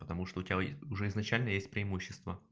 потому что у тебя уже изначально есть преимущество